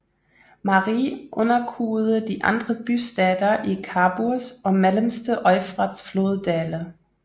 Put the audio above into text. Mari underkuede de andre bystater i Khaburs og mellemste Eufrats floddale